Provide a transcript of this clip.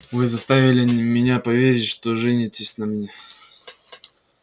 вы заставили меня поверить что женитесь на мне